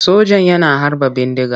Sojan yana harba bindiga.